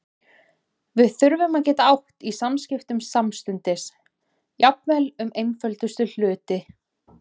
Við þurftum að geta átt í samskiptum samstundis, jafnvel um einföldustu hluti.